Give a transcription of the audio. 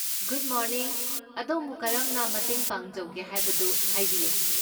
Good morning, ꯑꯗꯣꯝꯕꯨ ꯀꯔꯝꯅ ꯃꯇꯦꯡ ꯄꯥꯡꯖꯧꯒꯦ ꯍꯥꯏꯕꯗꯨ ꯍꯥꯏꯕꯤꯌꯨ꯫